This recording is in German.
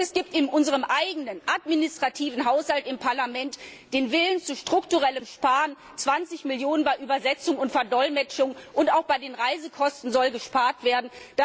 Und es gibt in unserem eigenen Verwaltungshaushalt im Parlament den Willen zu strukturellen Einsparungen 20 Millionen EUR bei Übersetzung und Verdolmetschung, und auch bei den Reisekosten soll gespart werden.